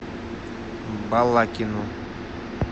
балакину